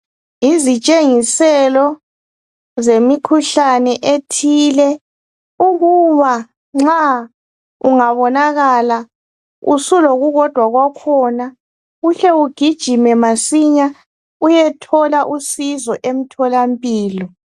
izitshengiselo zemikhuhlane ethile ukuba nxa ungabonakala usulokukodwa kwakhona uhle ugijime masinya uyehola usizo emtholampilo